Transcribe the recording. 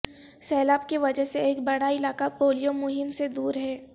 سیلاب کی وجہ سے ایک بڑا علاقہ پولیو مہم سے دور ہے